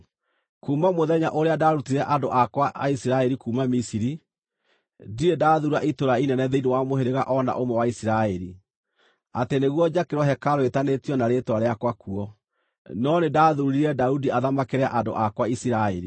‘Kuuma mũthenya ũrĩa ndaarutire andũ akwa a Isiraeli kuuma Misiri, ndirĩ ndathuura itũũra inene thĩinĩ wa mũhĩrĩga o na ũmwe wa Isiraeli, atĩ nĩguo njakĩrwo hekarũ ĩĩtanĩtio na Rĩĩtwa rĩakwa kuo, no nĩndathuurire Daudi athamakĩre andũ akwa Isiraeli.’